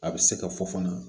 A bɛ se ka fɔ fana